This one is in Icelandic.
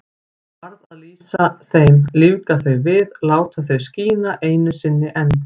Varð að lýsa þeim, lífga þau við, láta þau skína einu sinni enn.